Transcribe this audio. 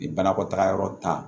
Ni banakɔtaa yɔrɔ ta